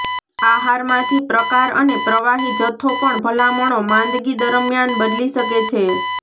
આહારમાંથી પ્રકાર અને પ્રવાહી જથ્થો પર ભલામણો માંદગી દરમિયાન બદલી શકે છે